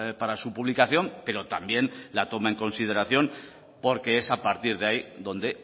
para su publicación pero también la toma en consideración porque es a partir de ahí donde